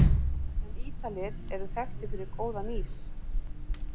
En Ítalir eru þekktir fyrir góðan ís!